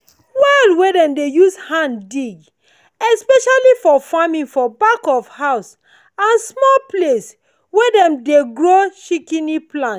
well wey dem dey use hand dig especially for farming for back of house and small place wey dem dey grow shikini plant.